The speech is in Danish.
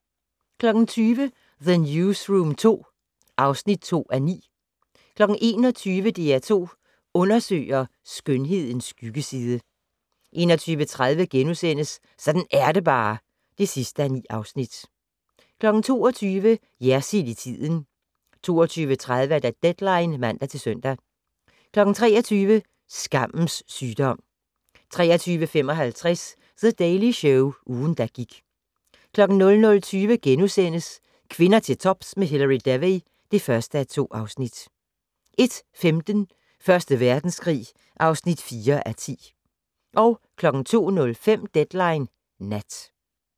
20:00: The Newsroom II (2:9) 21:00: DR2 Undersøger: Skønhedens skyggeside 21:30: Sådan er det bare (9:9)* 22:00: Jersild i tiden 22:30: Deadline (man-søn) 23:00: Skammens sygdom 23:55: The Daily Show - ugen, der gik 00:20: Kvinder til tops med Hilary Devey (1:2)* 01:15: Første Verdenskrig (4:10) 02:05: Deadline Nat